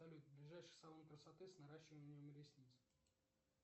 салют ближайший салон красоты с наращиванием ресниц